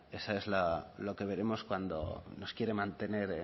eso es lo que vemos cuando nos quiere mantener